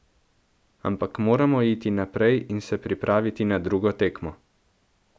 Ampak moramo iti naprej in se pripraviti na drugo tekmo.